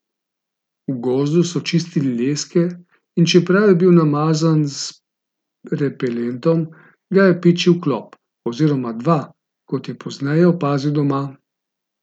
V gozdu so čistili leske in čeprav je bil namazan z repelentom, ga je pičil klop, oziroma dva, kot je pozneje opazil doma.